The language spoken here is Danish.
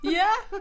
Ja